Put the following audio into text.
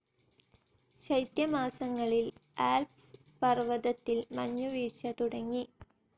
ശൈത്യമാസങ്ങളിൽ Alps പർവതത്തിൽ മഞ്ഞുവീഴ്ച തുടങ്ങി.